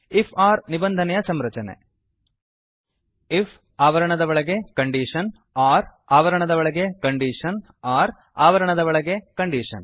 IF or ನಿಬಂಧನೆಯ ಸಂರಚನೆ if ಆವರಣದ ಒಳಗೆ ಕಂಡೀಷನ್ ಒರ್ ಆವರಣದ ಒಳಗೆ ಕಂಡೀಷನ್ ಒರ್ ಆವರಣದ ಒಳಗೆ ಕಂಡೀಷನ್